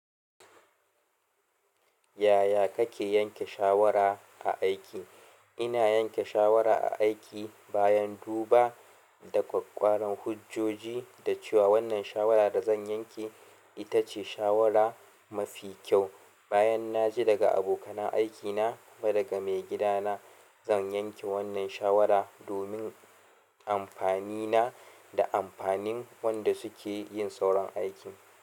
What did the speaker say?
Yaya kake yanke shawara a aiki? Ina yanke shawara a aiki bayan duba da ƙwaƙƙwaran hujjoji da cewa wannan shawara da zan yanke ita ce shawara mafi kyau. Bayan naji daga abokanan aikina kuma daga maigida na zan yanke wannan shawara domin amfanina da amfanin wanda sukeyin sauran aikin.